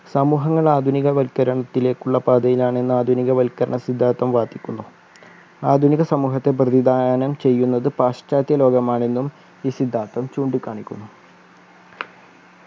സമൂഹങ്ങൾ ആധുനികവൽകരണത്തിലേക്കുള്ള പാതയിലാണ് എന്ന് ആധുനിക വൽക്കരണ സിദ്ധാന്തം വാദിക്കുന്നു ആധുനിക സമൂഹത്തെ പ്രതിദാനം ചെയ്യുന്നത് പാശ്ചാത്യ ലോകമാണെന്നും ഈ സിദ്ധാന്തം ചൂണ്ടികാണിക്കുന്നു